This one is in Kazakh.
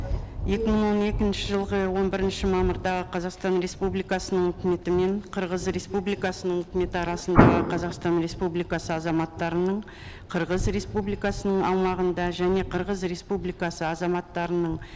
екі мың он екінші жылғы он бірінші мамырдағы қазақстан республикасының өкіметі мен қырғыз республикасының өкіметі арасындағы қазақстан республикасы азаматтарының қырғыз республикасының аумағында және қырғыз республикасы азаматтарының